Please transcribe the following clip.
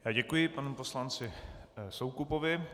Děkuji panu poslanci Soukupovi.